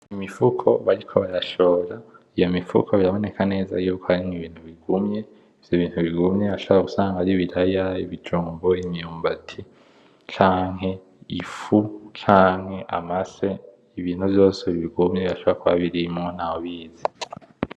Imifuko bariko barashora. Iyo mifuko biraboneka neza y’uko harimwo ibintu bigumye, ivyo bintu bigumye birashobora gusanga ari ibiraya, ibijumbu, imyumbati canke ifu canke amase. Ibintu vyose bigumye birashobora kuba birimwo ntawubizi.